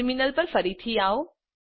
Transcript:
terminal પેર ફરીથી આવો